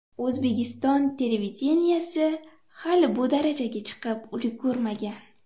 O‘zbekiston televideniyesi hali bu darajaga chiqib ulgurmagan.